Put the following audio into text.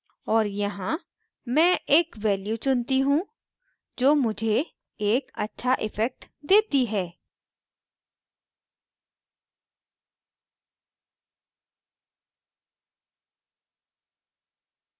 और यहाँ में एक value चुनती choose जो मुझे एक अच्छा इफ़ेक्ट देती है